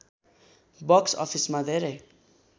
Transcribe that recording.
box अफिसमा धेरै